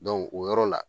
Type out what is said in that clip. o yɔrɔ la